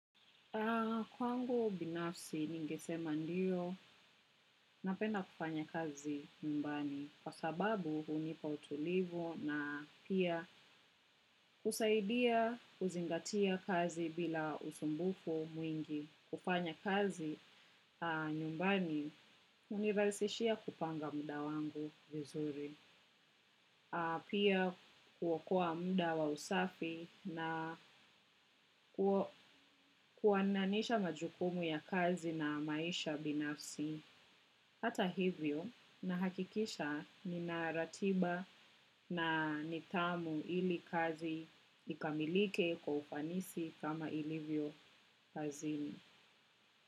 Kwangu binafsi ningisema ndiyo napenda kufanya kazi nyumbani kwa sababu unipa utulivu na pia kusaidia kuzingatia kazi bila usumbufu mwingi. Kufanya kazi nyumbani uniraisishia kupanga muda wangu vizuri. Pia kuokoa muda wa usafi na kuwananisha majukumu ya kazi na maisha binafsi. Hata hivyo naakikisha nina ratiba na nidhamu ili kazi ikamilike kwa ufanisi kama ilivyo kazini.